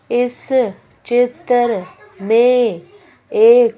इस चित्र में एक--